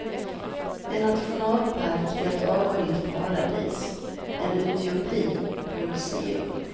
En nationalpark är ett avskilt paradis, en utopi på museum.